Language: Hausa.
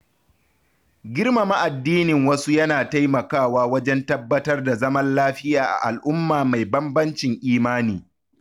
Girmama addinin wasu yana taimakawa wajen tabbatar da zaman lafiya a al’umma mai bambancin imani.